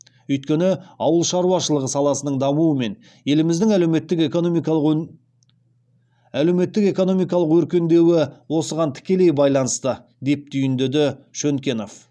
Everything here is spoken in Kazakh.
өйткені ауыл шаруашылығы саласының дамуы мен еліміздің әлеуметтік экономикалық өркендеуі осыған тікелей байланысты деп түйіндеді шөнкенов